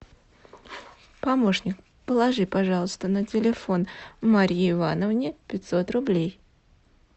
помощник положи пожалуйста на телефон марии ивановне пятьсот рублей